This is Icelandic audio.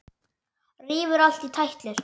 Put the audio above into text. Rífur allt í tætlur.